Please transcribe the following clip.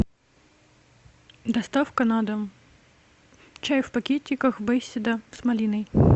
доставка на дом чай в пакетиках беседа с малиной